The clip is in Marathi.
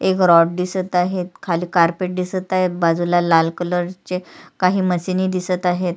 एक रॉड दिसत आहेत खाली कारपेट दिसत आहे बाजूला लाल कलर चे काही मशीनी दिसत आहेत.